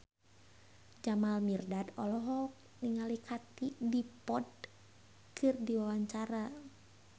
Jamal Mirdad olohok ningali Katie Dippold keur diwawancara